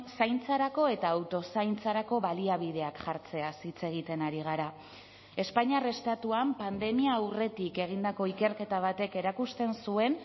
zaintzarako eta auto zaintzarako baliabideak jartzeaz hitz egiten ari gara espainiar estatuan pandemia aurretik egindako ikerketa batek erakusten zuen